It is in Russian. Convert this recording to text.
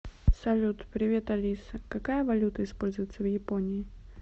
салют привет алиса какая валюта используется в японии